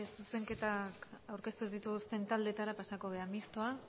zuzenketak aurkeztu ez dituztenen taldeetara pasako gara mistoa